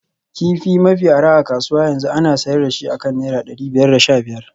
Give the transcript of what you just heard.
Kifi mafi arha a kasuwa yanzu ana sayar da shi akan naira dari biyar da sha biyar